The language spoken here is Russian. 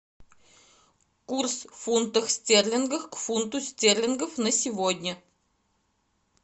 курс фунтов стерлингов к фунту стерлингов на сегодня